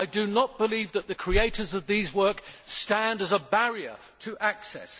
I do not believe that the creators of these works stand as a barrier to access.